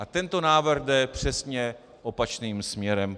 A tento návrh jde přesně opačným směrem.